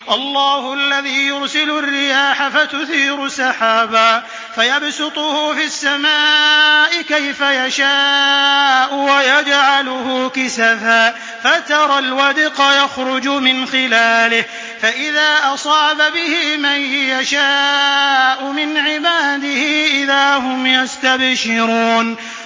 اللَّهُ الَّذِي يُرْسِلُ الرِّيَاحَ فَتُثِيرُ سَحَابًا فَيَبْسُطُهُ فِي السَّمَاءِ كَيْفَ يَشَاءُ وَيَجْعَلُهُ كِسَفًا فَتَرَى الْوَدْقَ يَخْرُجُ مِنْ خِلَالِهِ ۖ فَإِذَا أَصَابَ بِهِ مَن يَشَاءُ مِنْ عِبَادِهِ إِذَا هُمْ يَسْتَبْشِرُونَ